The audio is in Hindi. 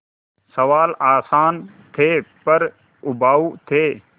सवाल आसान थे पर उबाऊ थे